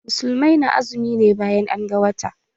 Musulmai na azumi ne bayan an ga wata.